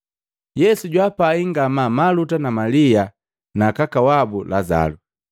Yesu jwaapai ngamaa Maluta na Malia na kaka wabu Lazalu.